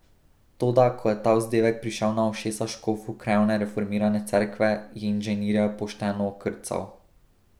Toda ko je ta vzdevek prišel na ušesa škofu krajevne reformirane cerkve, je inženirja pošteno okrcal.